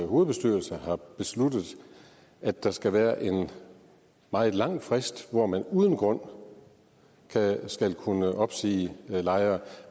hovedbestyrelse har besluttet at der skal være en meget lang frist hvor man uden grund skal kunne opsige lejere